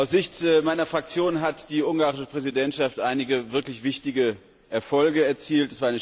Aus Sicht meiner Fraktion hat die ungarische Präsidentschaft einige wirklich wichtige Erfolge erzielt.